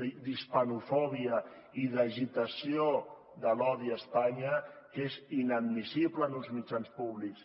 d’hispanofòbia i d’agitació de l’odi a espanya que és inadmissible en uns mitjans públics